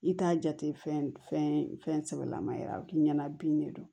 I t'a jate fɛn fɛn fɛn sɛbɛ lama yɛrɛ a bɛ k'i ɲɛna bin de do